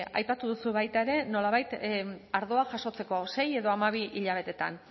aipatu duzu baita ere nolabait ardoa jasotzeko sei edo hamabi hilabeteetan